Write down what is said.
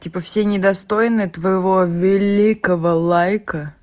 типа все недостойны твоего великого лайка